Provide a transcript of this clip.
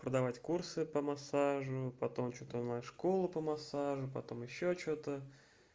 продавать курсы по массажу потом что-то на школу по массажу потом ещё что-то